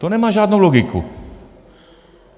To nemá žádnou logiku.